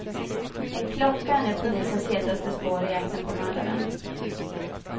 En klocka är nu polisens hetaste spår i jakten på mördaren.